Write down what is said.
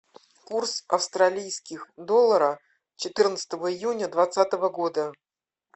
курс австралийских доллара четырнадцатого июня двадцатого года